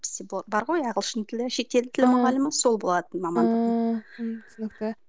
бар ғой ағылшын тілі шетел тілі мұғалімі сол болатын мамандығым ыыы түсінікті